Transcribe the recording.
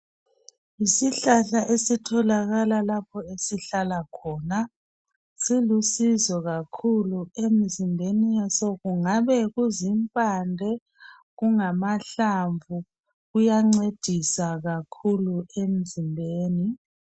Yisihlahla esitholakala lapho esihlala khona. Silusizo kakhulu emzimbeni yaso kungabe kuzimpande, kungamahlamvu, kuyancedisa kakhulu emzimbeni.